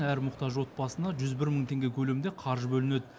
әр мұқтаж отбасына жүз бір мың теңге көлемінде қаржы бөлінеді